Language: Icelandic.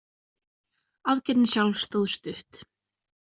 Aðgerðin sjálf stóð stutt.